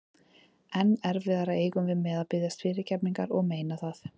Enn erfiðara eigum við með að biðjast fyrirgefningar og meina það.